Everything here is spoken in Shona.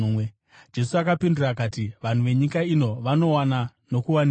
Jesu akapindura akati, “Vanhu venyika ino vanowana nokuwanikwa.